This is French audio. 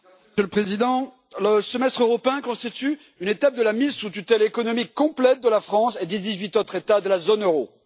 Monsieur le Président, le Semestre européen constitue une étape de la mise sous tutelle économique complète de la France et des dix-huit autres États de la zone euro.